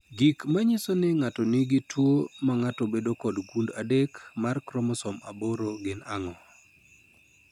Gik manyiso ni ng'ato nigi tuwo mang'ato bedo kod gund adek mar kromosom aboro gin ang'o?